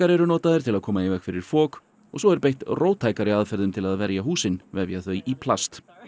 eru notaðir til að koma í veg fyrir fok og svo er beitt róttækari aðferðum til að verja húsin vefja þau í plast